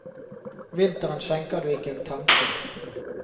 Vinteren skjenker du ikke en tanke.